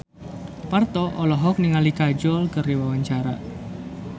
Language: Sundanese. Parto olohok ningali Kajol keur diwawancara